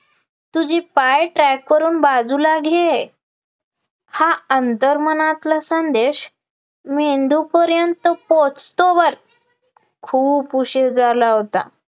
तुझी पाय track वरून बाजूला घे, हा अंतर्मनातला संदेश मेंदूपर्यंत पोहोचतो वर, खूप उशीर झाला होता